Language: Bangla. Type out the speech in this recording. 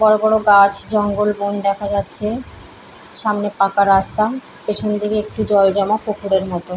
বড় বড় গাছ জঙ্গল বন দেখা যাচ্ছে সামনে পাকা রাস্তা পেছনদিকে একটু জল জমা পুকুরের মতো।